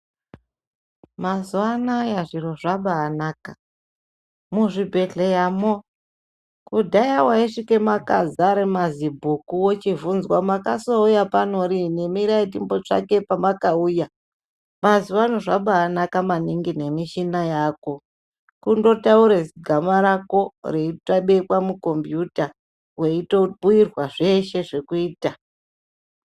Mazuwa anaya zviro zvabaanaka muzvibhedhleya mo. Kudhaya waisvike makazare mazibhuku wochivhunzwa makasouya pano riini? Mirai tombotsvake pemakauya. Mazuwa ano zvabaanaka maningi nemishina yaako, kundotaure gama rako reibekwa makhombiyuta weitobhuirwa zveshe zvekuita.